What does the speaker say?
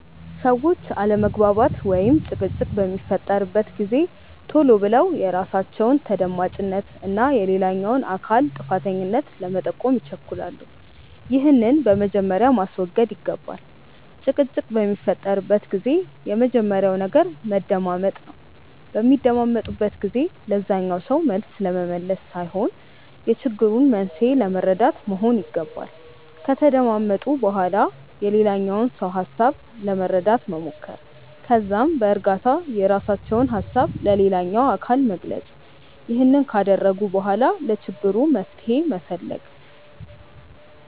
ሰዎች አለመግባባት ወይም ጭቅጭቅ በሚፈጠርበት ጊዜ ቶሎ ብለው የራሳቸውን ተደማጭነት እና የሌላኛውን አካል ጥፋተኛነት ለመጠቆም ይቸኩላሉ። ይህንን በመጀመሪያ ማስወገድ ይገባል። ጭቅጭቅ በሚፈጠርበት ጊዜ የመጀመሪያው ነገር መደማመጥ ነው። በሚደማመጡበት ጊዜ ለዛኛው ሰው መልስ ለመመለስ ሳይሆን የችግሩን መንስኤ ለመረዳት መሆን ይገባል። ከተደማመጡ በኋላ የሌላኛውን ሰው ሀሳብ ለመረዳት መሞከር። ከዛም በእርጋታ የራሳቸውን ሀሳብ ለሌላኛው አካል መግለጽ። ይህንን ካደረጉ በኋላ ለችግሩ መፍትሄ መፈለግ።